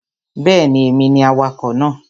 Bẹ́ẹ̀ni, èmi ni awakọ̀ náà